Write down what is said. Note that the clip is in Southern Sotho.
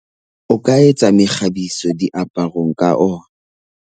O ka etsa mekgabiso diaparong ka ona.